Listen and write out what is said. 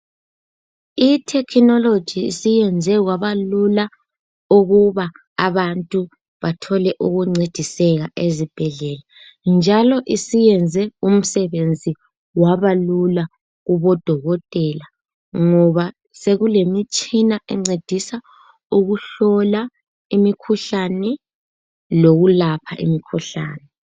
Ithekhinoloji isiyenze kwaba Lula ukuba abantu Bathole ukuncediseka ezibhedlela njalo isiyenze umsebenzi waba Lula kubo dokotela ngoba sekule mitshina encedisa ukuhlola imikhuhlane lokulapha imikhuhlane